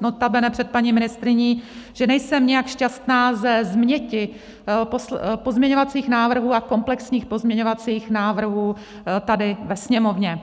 notabene před paní ministryní, že nejsem nijak šťastná ze změti pozměňovacích návrhů a komplexních pozměňovacích návrhů tady ve Sněmovně.